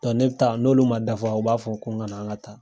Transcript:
ne bi ta n'olu ma dafa u b'a fɔ ko n ka na an ka taa.